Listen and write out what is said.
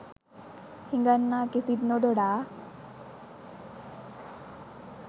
හිඟන්නා කිසිත් නොදොඩා